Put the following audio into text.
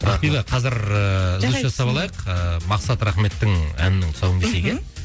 ақбибі қазір ыыы үзіліс жасап алайық ыыы мақсат рахметтің әнінің тұсауын кесейік иә мхм